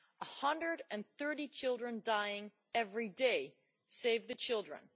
130 children dying every day', Save the Children